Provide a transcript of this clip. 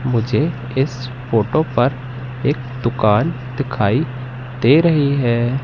मुझे इस फोटो पर एक दुकान दिखाई दे रही है।